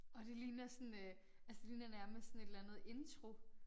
Åh det ligner sådan øh altså det ligner nærmest sådan et eller andet intro